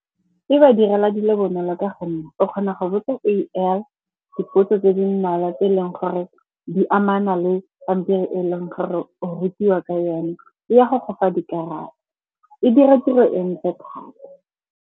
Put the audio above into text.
E ba direla dilo bonolo ka gonne o kgona go botsa A_I dipotso tse di mmalwa tse e leng gore di amana le pampiri e leng gore o rutiwa ka yone, e ya go go fa dikarabo. E dira tiro entle thata.